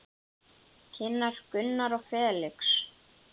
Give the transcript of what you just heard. Kynnar Gunnar og Felix.